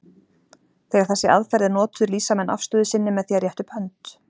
Þegar þessi aðferð er notuð lýsa menn afstöðu sinni með því að rétta upp hönd.